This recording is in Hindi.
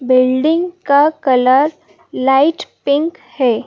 बिल्डिंग का कलर लाइट पिंक है।